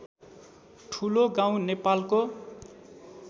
ठुलोगाउँ नेपालको